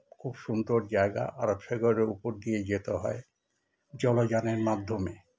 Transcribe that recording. খুব সুন্দর জায়গা আরবসাগোরের ওপর দিয়ে যেতে হয় জলযানের মাধ্যমে